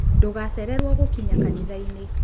Ndũgacererwo gũkinya kanitha-ini.